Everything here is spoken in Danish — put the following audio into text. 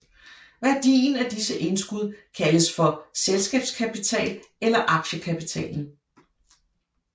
Værdien af disse indskud kaldes for selskabskapital eller aktiekapitalen